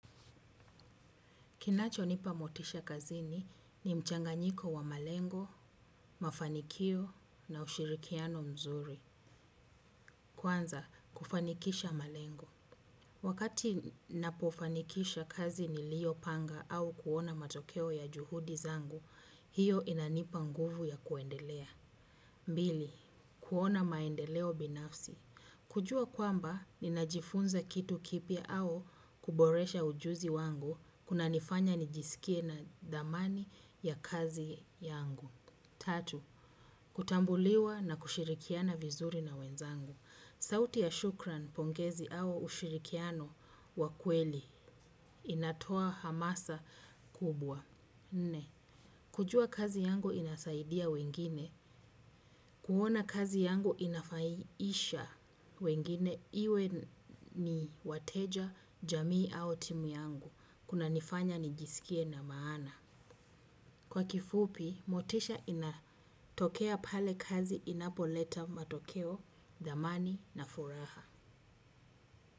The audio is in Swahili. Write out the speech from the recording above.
Kinachonipa motisha kazini ni mchanganyiko wa malengo, mafanikio na ushirikiano mzuri. Kwanza, kufanikisha malengo. Wakati napofanikisha kazi niliyopanga au kuona matokeo ya juhudi zangu, hiyo inanipa nguvu ya kuendelea. Mbili, kuona maendeleo binafsi. Kujua kwamba, ninajifunza kitu kipya au kuboresha ujuzi wangu, kunanifanya nijiskie na dhamani ya kazi yangu. Tatu, kutambuliwa na kushirikiana vizuri na wenzangu. Sauti ya shukran pongezi au ushirikiano wa kweli, inatoa hamasa kubwa. Nne, kujua kazi yangu inasaidia wengine, kuona kazi yangu inafaiisha wengine, iwe ni wateja jamii au timu yangu, kunanifanya nijiskie na maana. Kwa kifupi, motisha inatokea pale kazi inapoleta matokeo, dhamani na furaha.